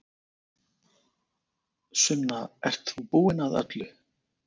Sunna, ert þú búin að öllu?